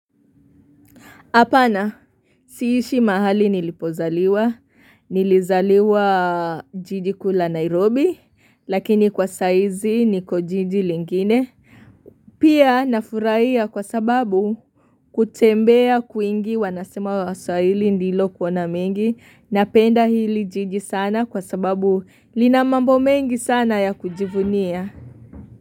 Apana, siishi mahali nilipozaliwa, nilizaliwa jiji kule Nairobi, lakini kwa saa hizi niko jiji lingine. Pia nafurahia kwa sababu kutembea kwingi wanasema waswahili ndilo kuona mengi, napenda hili jiji sana kwa sababu lina mambo mengi sana ya kujivunia.